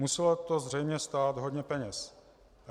Muselo to zřejmě stát hodně peněz.